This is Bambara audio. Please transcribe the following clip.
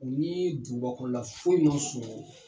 U ni dugubakɔnɔla foyi ma surun.